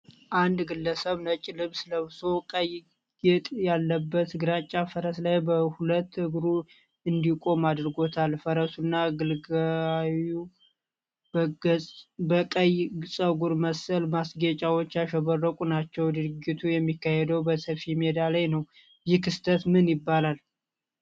አንድ ግለሰብ ነጭ ልብስ ለብሶ፣ ቀይ ጌጥ ያለበት ግራጫ ፈረስ ላይ በሁለት እግሩ እንዲቆም አድርጎታል። ፈረሱና ግልጋዩ በቀይ ጸጉር መሰል ማስጌጫዎች ያሸበራቁ ናቸው። ድርጊቱ የሚካሄደው በሰፊ ሜዳ ላይ ነው። ይህ ክስተት ምን ይባላል?